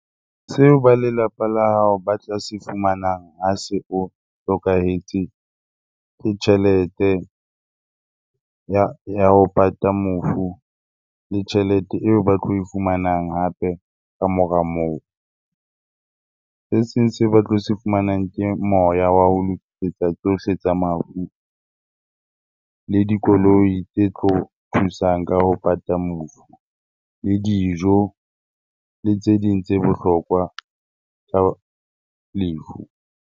Seo ba lelapa la hao ba tla se fumanang ha se o hlokahetse, ke tjhelete ya ho pata mofu le tjhelete eo ba tlo e fumanang hape kamora moo. Se seng se ba tlo se fumanang ke moya wa ho lokisetsa tsohle tsa mafu, le dikoloi tse tlo thusang ka ho pata mofu, le dijo le tse ding tse bohlokwa tsa lefu.